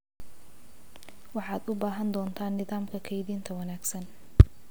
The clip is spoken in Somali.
Waxaad u baahan doontaa nidaamka kaydinta wanaagsan.